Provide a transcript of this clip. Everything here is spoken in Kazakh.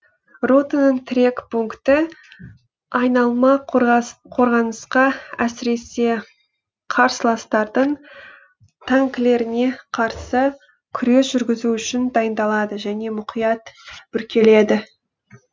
ротаның тірек пункті айналма қорғанысқа әсіресе қарсыластардың танкілеріне қарсы күрес жүргізу үшін дайындалады және мұқият бүркеледі